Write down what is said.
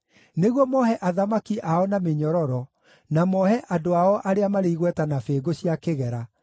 nĩguo moohe athamaki ao na mĩnyororo, na moohe andũ ao arĩa marĩ igweta na bĩngũ cia kĩgera,